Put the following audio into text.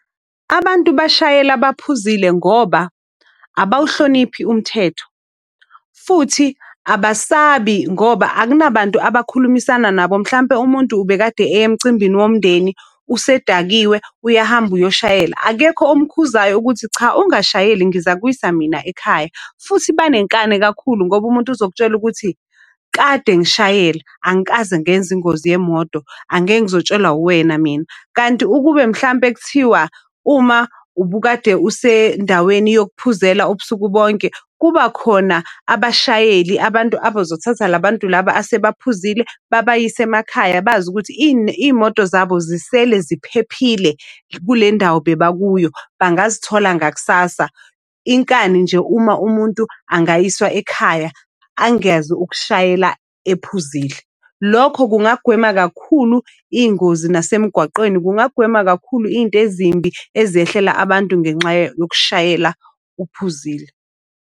Abantu bashayela baphuzile ngoba abawuhloniphi umthetho futhi abasabi ngoba akunabantu abakhulumisana nabo. Mhlampe umuntu ubekade eye emcimbini womndeni, usedakiwe uyahamba uyoshayela. Akekho omkhuzayo ukuthi cha ungashayeli ngizakuwisa mina ekhaya. Futhi banenkani kakhulu ngoba umuntu uzokutshela ukuthi kade ngishayela, angikaze ngenze ingozi yemoto angeke ngizotshelwa uwena mina. Kanti ukube mhlampe kuthiwa uma ubukade usendaweni yokuphuzela ubusuku bonke, kuba khona abashayeli, abantu abazothatha la bantu laba asebaphuzile babayise emakhaya. Bazi ukuthi iy'moto zabo zisele ziphephile kule ndawo beba kuyo bangazitholi ngakusasa. Inkani nje uma umuntu angayiswa ekhaya, angeze ukushayela ephuzile. Lokho kungagwema kakhulu iy'ngozi nasemgwaqeni kungagwema kakhulu iy'nto ezimbi ezehlela abantu ngenxa yokushayela uphuzile.